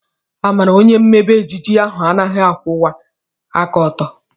Amara onye mmebe ejiji ahu anaghị akwụwa aka ọtọ.